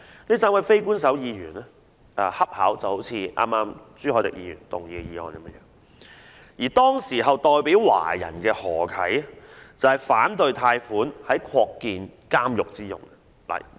這3位非官守議員的要求恰巧就是類似剛才朱凱廸議員動議的議案，而當時代表華人的何啟則反對貸款作擴建監獄之用。